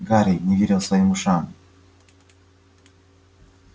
гарри не верил своим ушам